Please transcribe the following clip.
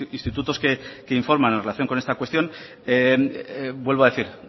institutos que informan en relación con esta cuestión vuelvo a decir